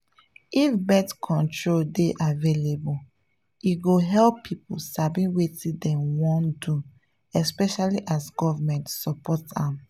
if birth control dey available e go help people sabi wetin dem wan do especially as government support am.